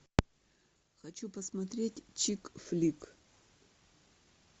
хочу посмотреть чик флик